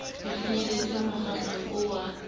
di finyelletse mokgatlong oo a